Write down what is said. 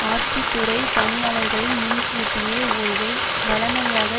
ஆட்சித்துறைப் பணியாளர்களின் முன்கூட்டிய ஓய்வை வழமையாக